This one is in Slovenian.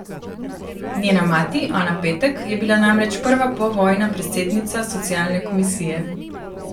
Njena mati, Ana Petek, je bila namreč prva povojna predsednica socialne komisije.